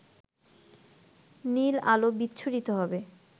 নীল আলো বিচ্ছুরিত হবে